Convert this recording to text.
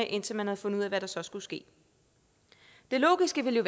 indtil man har fundet af hvad der så skal ske det logiske ville